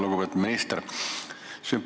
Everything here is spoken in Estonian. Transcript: Lugupeetud minister!